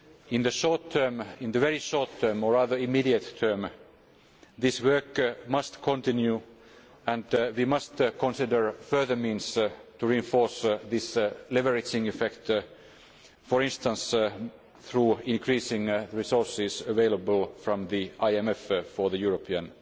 In the very short term or rather immediate term this work must continue and we must consider further means to reinforce this leveraging effect, for instance through increasing resources available from the IMF for the European